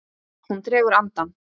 Hún dregur andann.